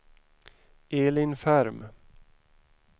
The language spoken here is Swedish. Elin Ferm